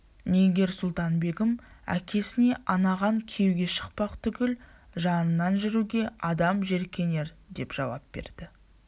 нигер-сұлтан-бегім әкесіне анаған күйеуге шықпақ түгіл жанынан жүруге адам жеркенердеп жауап берді